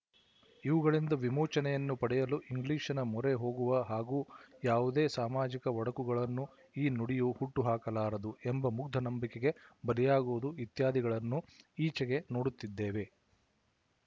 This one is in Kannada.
ಇವುಗಳಿಂದ ವಿಮೋಚನೆಯನ್ನು ಪಡೆಯಲು ಇಂಗ್ಲಿಶಿನ ಮೊರೆ ಹೋಗುವ ಹಾಗೂ ಯಾವುದೇ ಸಾಮಾಜಿಕ ಒಡಕುಗಳನ್ನು ಈ ನುಡಿಯು ಹುಟ್ಟು ಹಾಕಲಾರದು ಎಂಬ ಮುಗ್ದ ನಂಬಿಕೆಗೆ ಬಲಿಯಾಗುವುದು ಇತ್ಯಾದಿಗಳನ್ನು ಈಚೆಗೆ ನೋಡುತ್ತಿದ್ದೇವೆ